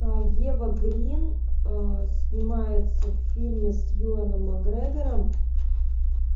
ева грин снимается в фильме с юэном макгрегором